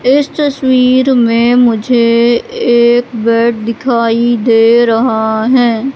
इस तस्वीर में मुझे एक बैट दिखाई दे रहा है।